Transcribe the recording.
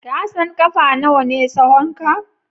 Ka san ƙafa nawa ne tsahonka?